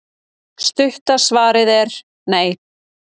stutta svarið er nei